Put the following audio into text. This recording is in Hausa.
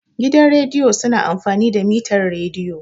Gidan rediyo su na amfani da mitar rediyo